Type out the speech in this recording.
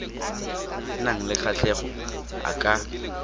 nang le kgatlhego a ka